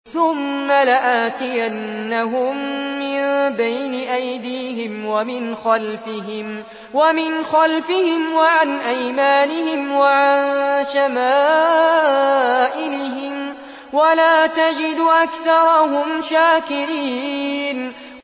ثُمَّ لَآتِيَنَّهُم مِّن بَيْنِ أَيْدِيهِمْ وَمِنْ خَلْفِهِمْ وَعَنْ أَيْمَانِهِمْ وَعَن شَمَائِلِهِمْ ۖ وَلَا تَجِدُ أَكْثَرَهُمْ شَاكِرِينَ